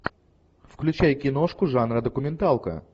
включай киношку жанра документалка